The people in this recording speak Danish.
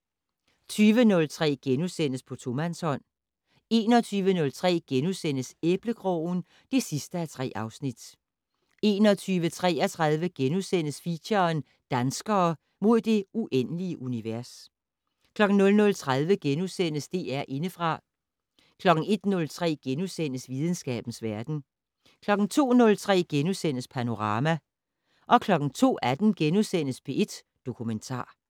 20:03: På tomandshånd * 21:03: Æblekrogen (3:3)* 21:33: Feature: Danskere - mod det uendelige univers * 00:30: DR Indefra * 01:03: Videnskabens verden * 02:03: Panorama * 02:18: P1 Dokumentar *